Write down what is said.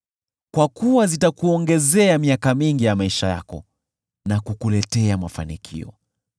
kwa kuwa zitakuongezea miaka mingi ya maisha yako na kukuletea mafanikio.